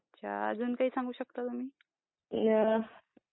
अच्छा अजून काही सांगू शकता का तुम्ह?